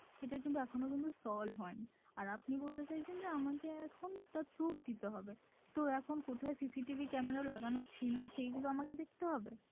সেটা কিন্তু এখনো কিন্তু solve হয়নি আর আপনি বলতে চাইছেন যে আমাকে এখন তার proof দিতে হবে তো এখন কোথায় CCTV camera লাগানো ছিল সেগুলো আমাকে দেখতে হবে?